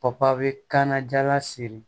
Papa bɛ kana jala siri